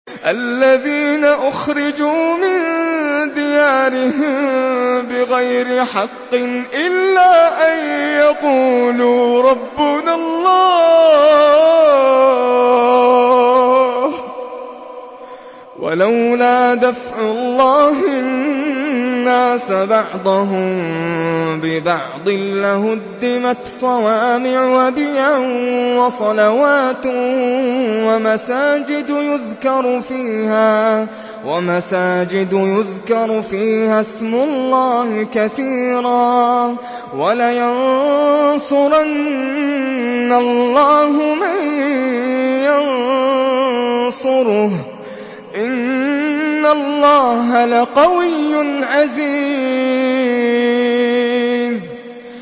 الَّذِينَ أُخْرِجُوا مِن دِيَارِهِم بِغَيْرِ حَقٍّ إِلَّا أَن يَقُولُوا رَبُّنَا اللَّهُ ۗ وَلَوْلَا دَفْعُ اللَّهِ النَّاسَ بَعْضَهُم بِبَعْضٍ لَّهُدِّمَتْ صَوَامِعُ وَبِيَعٌ وَصَلَوَاتٌ وَمَسَاجِدُ يُذْكَرُ فِيهَا اسْمُ اللَّهِ كَثِيرًا ۗ وَلَيَنصُرَنَّ اللَّهُ مَن يَنصُرُهُ ۗ إِنَّ اللَّهَ لَقَوِيٌّ عَزِيزٌ